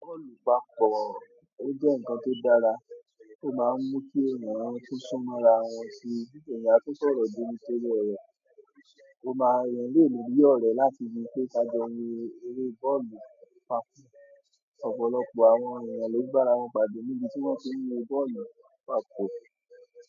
Bọ́ọ̀lù papọ̀, ó jẹ́ ǹkan tó dára, ó máa ń mú kí èèyàn tun súnmọ́ ra wọn sí, èèyàn a tun foro jomitoro oro, ó máa n-- eeyan le ri bí ọ̀rẹ́ láti bi pé ká jọ wo eré bọ́ọ̀lù papọ̀. Ọ̀pọ̀lọpọ̀ àwọn èèyàn ló bára wọn pàdé níbi tí wọ́n ti ń wo bọ́ọ̀lù papọ̀.